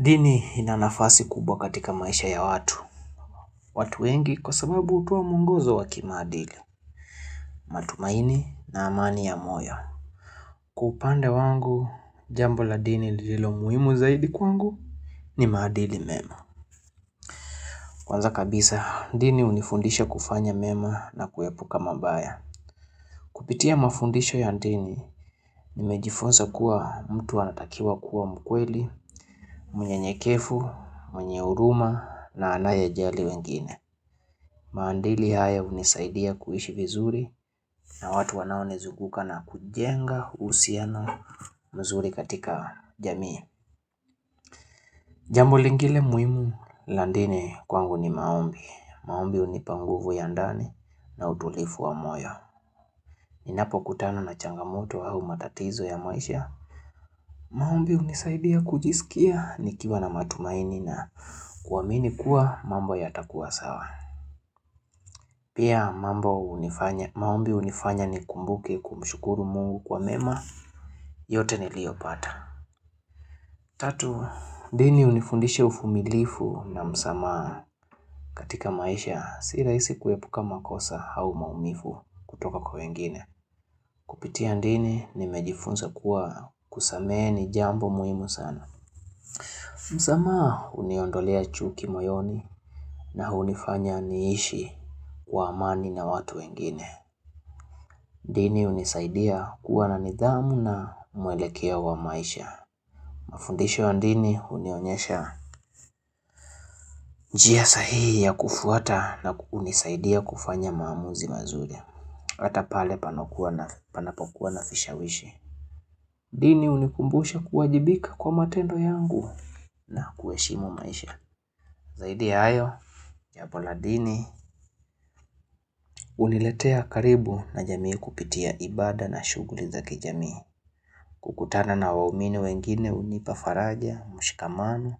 Dini inanafasi kubwa katika maisha ya watu. Watu wengi kwa sababu hutoa mwongozo waki maadili. Matumaini na amani ya moyo. Kupande wangu jambo la dini lilo muhimu zaidi kwangu ni maadili mema. Kwanza kabisa, ndini hunifundisha kufanya mema na kuepuka mabaya. Kupitia mafundisho ya ndini, nimejifunza kuwa mtu anatakiwa kuwa mkweli, mnye nyekefu, mwenye uruma na anaye jali wengine. Maandili haya hunisaidia kuishi vizuri na watu wanaonizuguka na kujenga uhusiano mzuri katika jamii Jambo lingile muimu la ndini kwangu ni maombi. Maombi unipa nguvu ya ndani na udulifu wa moyo Ninapokutana na changamoto au matatizo ya maisha maombi hunisaidia kujisikia nikiwa na matumaini na kuaamini kuwa mambo yatakuwa sawa Pia mambo unifanya maombi hunifanya ni kumbuke kumshukuru mungu kwa mema, yote niliopata. Tatu, dini unifundisha ufumilifu na msamaa katika maisha, si rahisi kuepuka makosa hau maumifu kutoka kwa wengine. Kupitia ndini, nimejifunza kuwa kusamehe ni jambo muhimu sana. Msamaha uniondolea chuki moyoni na hunifanya niishi kwa amani na watu wengine. Ndini unisaidia kuwa na nidhamu na mwelekeo wa maisha. Mafundisho ya ndini hunionyesha njia sahihi ya kufuata na kunisaidia kufanya maamuzi mazuri. Hata pale panakuwa na panapokuwa na fisha wishi. Ndini unikumbusha kuwajibika kwa matendo yangu na kueshimu maisha. Zaidi ya hayo. Japo la dini uniletea karibu na jamii kupitia ibada na shughuli za kijamii. Kukutana na waumini wengine unipafaraja, mshikamano